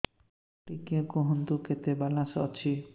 ଟିକେ କୁହନ୍ତୁ କେତେ ବାଲାନ୍ସ ଅଛି